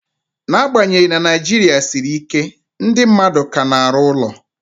N'agbanyeghị na Naijiria siri ike, ndị mmadụ ka na-arụ ụlọ